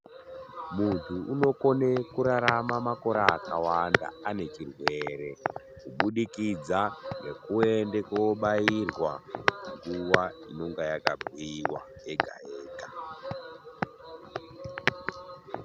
Muntu unokone kurarama makore akawanda ane chirwere, kubudikidza ngekuende kobairwa nguva inonga yakabhuiwa yega-yega.